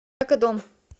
экодом